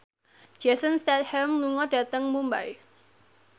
Jason Statham lunga dhateng Mumbai